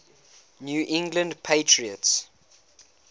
new england patriots